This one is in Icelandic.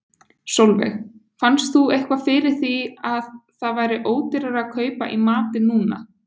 Sólveig: Fannst þú eitthvað fyrir því að það væri ódýrara að kaupa í matinn núna?